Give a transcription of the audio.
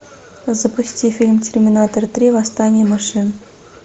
запусти фильм терминатор три восстание машин